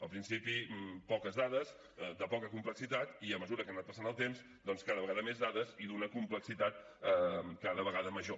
al principi poques dades de poca complexitat i a mesura que ha anat passant el temps doncs cada vegada més dades i d’una complexitat cada vegada major